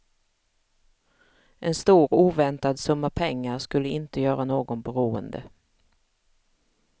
En stor oväntad summa pengar skulle inte göra någon beroende.